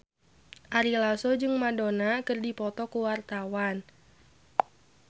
Ari Lasso jeung Madonna keur dipoto ku wartawan